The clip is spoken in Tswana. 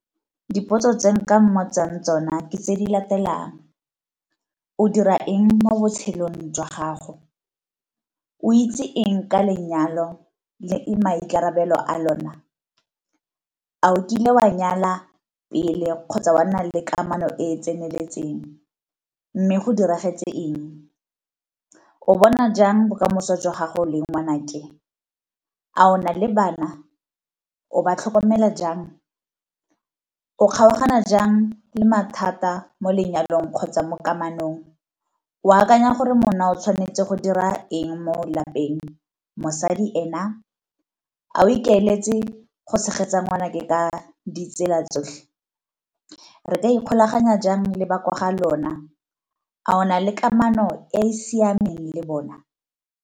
Dipotso tse nka mmotsang tsona ke tse di latelang, o dira eng mo botshelong jwa gago? O itse eng ka lenyalo le maikarabelo a lona? A o kile wa nyala pele kgotsa wa nna le kamano e e tseneletseng, mme go diragetse eng? O bona jang bokamoso jwa gago leng ngwanake? A o na le bana, o ba tlhokomela jang, o kgaogana jang le mathata mo lenyalong kgotsa mo kamanong? O akanya gore monna o tshwanetse go dira eng mo lapeng, mosadi ena? A o ikaeletse go tshegetsa ngwanake ka ditsela tsotlhe? Re ka ikgolaganya jang le ba ko ga lona, a ona le kamano e e siameng le bona?